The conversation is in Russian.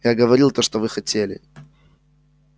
я говорил то что вы хотели